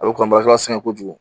A bɛ kɔnba sɛŋɛ kojugu